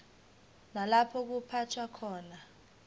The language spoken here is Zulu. nalapho kuphathwa khona